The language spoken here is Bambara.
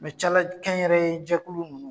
Mɛ calakɛ n yɛrɛ ye jɛkulu ninnu